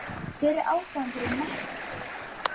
Hver er ástæðan fyrir nettó stöðu?